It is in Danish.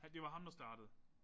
Han det var ham der startede?